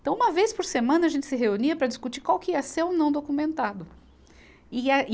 Então, uma vez por semana, a gente se reunia para discutir qual que ia ser ou não documentado. E a, e